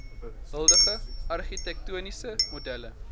huidige argitektoniese modelle